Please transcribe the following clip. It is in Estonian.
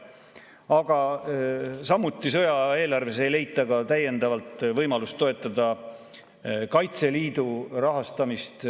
Aga samuti ei leitud sõjaaja eelarves täiendavat võimalust toetada Kaitseliidu rahastamist.